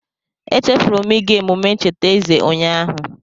Echefuru m ịga emume ncheta eze ụnyaahụ.